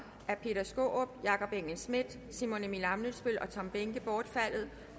af peter skaarup jakob engel schmidt simon emil ammitzbøll og tom behnke bortfaldet